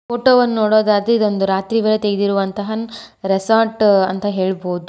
Photo ವನ್ನು ನೋಡೊದಾದರೆ ಇದು ಒಂದು ರಾತ್ರಿ ವೇಳೆ ತೆಗೆದಿರುವಂತಹ ರೆಸಾರ್ಟ್ ಅಂತ ಹೇಳ್ಬೋದು.